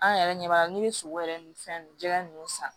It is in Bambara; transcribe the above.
An yɛrɛ ɲɛ b'a la n'i ye sogo yɛrɛ ni fɛn jɛgɛ ninnu san